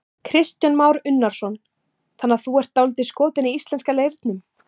Kristján Már Unnarsson: Þannig að þú ert dálítið skotinn í íslenska leirnum?